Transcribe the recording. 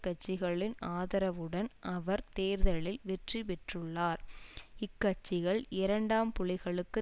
கட்சிகளின் ஆதரவுடன் அவர் தேர்தலில் வெற்றி பெற்றுள்ளார் இக்கட்சிகள் இரண்டாம் புலிகளுக்கு